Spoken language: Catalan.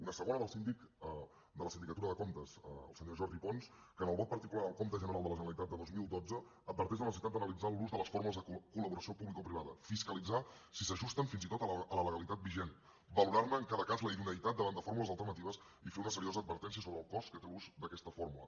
una segona d’un síndic de la sindicatura de comptes el senyor jordi pons que en el vot particular al compte general de la generalitat de dos mil dotze adverteix de la necessitat d’analitzar l’ús de les formes de collaboració publicoprivada fiscalitzar si s’ajusten fins i tot a la legalitat vigent valorar ne en cada cas la idoneïtat davant de fórmules alternatives i fer una seriosa advertència sobre el cost que té l’ús d’aquesta fórmula